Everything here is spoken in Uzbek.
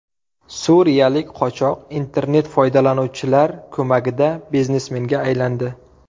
Suriyalik qochoq internet-foydalanuvchilar ko‘magida biznesmenga aylandi .